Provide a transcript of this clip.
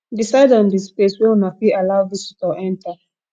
decide on di space wey una fit allow visitior enter